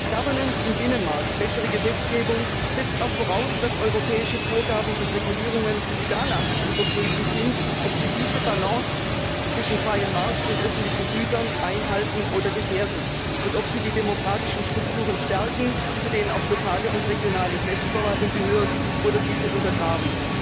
Governance im Binnenmarkt, bessere Gesetzgebung, setzt auch voraus, dass europäische Vorgaben und Regulierungen daraufhin zu überprüfen sind, ob sie diese Balance zwischen freiem Markt und öffentlichen Gütern einhalten oder gefährden, und ob sie die demokratischen Strukturen stärken, zu denen auch lokale und regionale Selbstverwaltung gehören, oder diese untergraben.